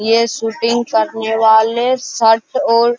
ये शूटिंग करने वाले शर्ट और --